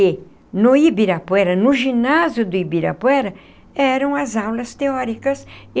E no Ibirapuera, no ginásio do Ibirapuera, eram as aulas teóricas.